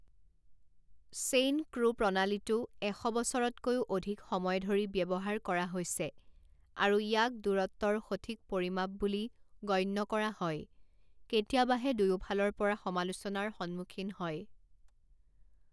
Chain ক্ৰু প্ৰণালীটো এশ বছৰতকৈও অধিক সময় ধৰি ব্যৱহাৰ কৰা হৈছে আৰু ইয়াক দূৰত্বৰ সঠিক পৰিমাপ বুলি গণ্য কৰা হয়, কেতিয়াবাহে দুয়োফালৰ পৰা সমালোচনাৰ সন্মুখীন হয়।